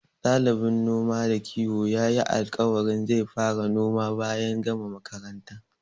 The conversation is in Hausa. Ɗalibin noma da kiwon yayi alƙawarin zai fara noma bayan gama makaranta.